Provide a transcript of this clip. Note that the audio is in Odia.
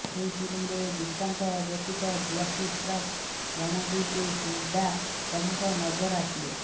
ଏହି ଫିଲ୍ମରେ ଦିଶାଙ୍କ ବ୍ୟତୀତ ଜ୍ୟାକି ଶ୍ରଫ୍ ରଣଦୀପ ହୁଡ୍ଡା ପ୍ରମୁଖ ନଜର ଆସିବେ